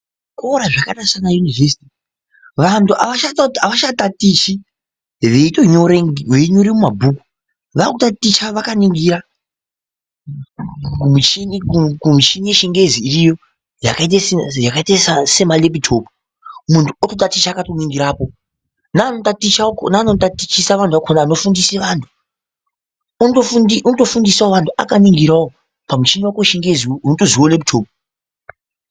Zvikora zvakaita semayunivhesiti vantu havachatatichi veinyore mumabhuku, vakutaticha vakaningira kumishini yechingezi iriyo yakaite semareputopu, munhu akutaticha akatoningirapo, neanotaticha akona anotatichisa kana anofundise vantu otofundisawo vantu akaningirawo pamushini wechingezi unotonziwo reputopu.